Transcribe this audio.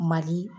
Mali